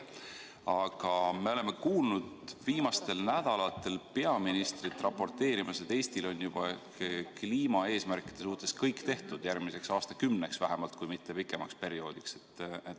Aga me oleme viimastel nädalatel kuulnud peaministrit raporteerimas, et Eestil on juba kliimaeesmärkide suhtes kõik tehtud, järgmiseks aastakümneks vähemalt, kui mitte pikemaks perioodiks.